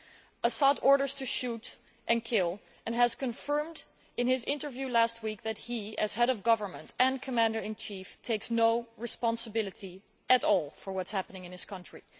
Al Assad orders to shoot and kill and has confirmed in his interview last week that he, as head of government and commander in chief, takes no responsibility at all for what is happening in his country.